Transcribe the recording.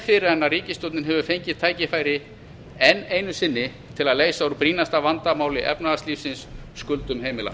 fyrr en ríkisstjórnin hefur fengið tækifæri enn einu sinni til að leysa úr brýnasta vandamáli efnahagslífsins skuldum heimilanna